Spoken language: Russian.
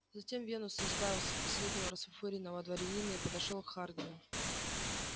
затем венус избавился от последнего расфуфыренного дворянина и подошёл к хардину